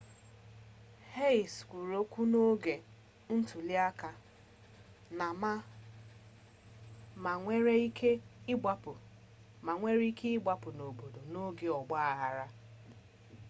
hsieh kwuru okwu n'oge ntuliaka na ma nwere ike ịgbapụ n'obodo n'oge ọgba aghara